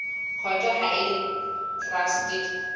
court ha e le traste